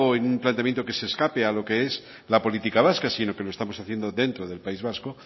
en un planteamiento que se escape a lo que es la política vasca sino que lo estamos haciendo dentro del país vasco